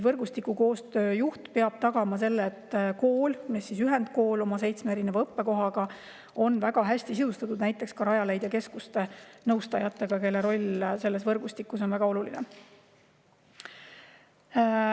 Võrgustikukoostöö juht peab tagama selle, et ühendkooli seitsmes õppekohas on väga hästi näiteks Rajaleidja keskuste nõustajad, kelle roll selles võrgustikus on väga oluline.